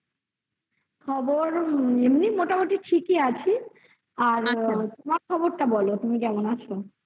খবর এমনি মোটামুটি ঠিকই আছে আর তোমার খবরটা বলো তুমি কেমন আছো?